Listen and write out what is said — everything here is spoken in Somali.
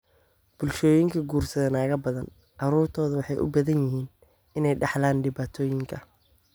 bulshooyinka guursada nagaa badan, caruurtoodu waxay u badan tahay inay dhaxlaan dhibaatooyinkan.